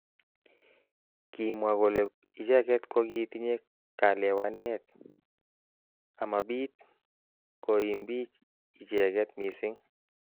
Kimwa kole icheket kokitinye kalewenet amabit koimbich icheket missing.